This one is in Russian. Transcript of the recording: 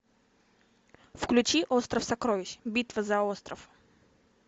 включи остров сокровищ битва за остров